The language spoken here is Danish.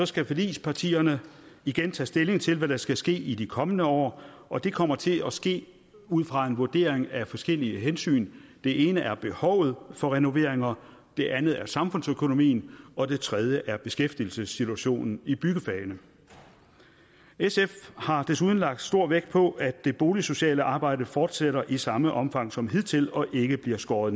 skal forligspartierne igen tage stilling til hvad der skal ske i de kommende år og det kommer til at ske ud fra en vurdering af forskellige hensyn det ene er behovet for renoveringer det andet er samfundsøkonomien og det tredje er beskæftigelsessituationen i byggefagene sf har desuden lagt stor vægt på at det boligsociale arbejde fortsætter i samme omfang som hidtil og ikke bliver skåret